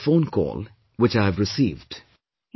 Now listen to this phone call, which I have received